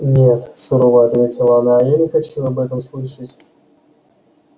нет сурово ответила она я не хочу об этом слышать